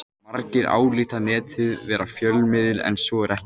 Margir álíta Netið vera fjölmiðil en svo er ekki.